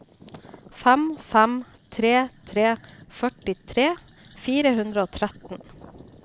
fem fem tre tre førtitre fire hundre og tretten